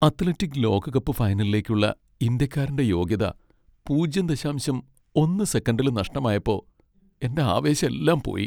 Athletic ലോകകപ്പ് ഫൈനലിലേക്കുള്ള ഇന്ത്യക്കാരന്റെ യോഗ്യത പൂജ്യം ദശാംശം ഒന്ന് സെക്കന്റിൽ നഷ്ടായപ്പോ എന്റെ ആവേശെല്ലാം പോയി.